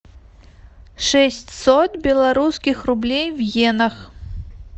шестьсот белорусских рублей в иенах